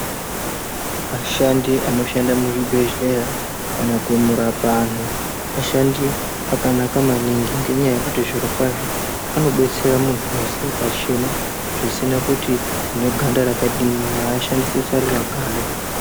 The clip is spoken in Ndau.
Ashandi anoshanda muzvibhedhlera kana kurapa antu ashandi akanaka maningi ngenyaya yekuti zviro kwazvo anobetsera munhu wese pachena zvisina kuti une ganda rakadini haashandisi rusaruraganda.